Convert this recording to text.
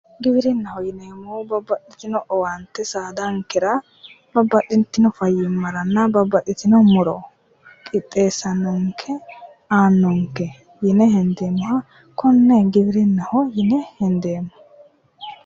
Giwirinnaho yineemmo woyte babbaxxitinno owaante saadankera babbaxxitinno fayyimmaranna babbaxxitinno muro qixxeessannonke aannonke yine hendeemmoha konne giwirinnaho yine hendeemmo.